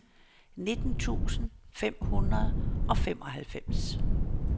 nitten tusind fem hundrede og femoghalvfems